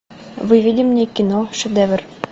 выведи мне кино шедевр